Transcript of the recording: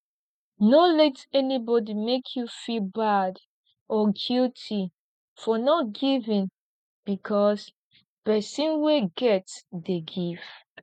no let anybody make you feel bad or guilty for not giving because person wey get dey give